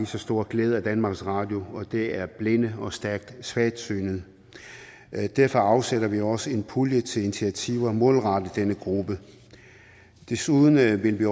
så stor glæde af danmarks radio som og det er blinde og stærkt svagsynede derfor afsætter vi også en pulje til initiativer målrettet denne gruppe desuden vil vi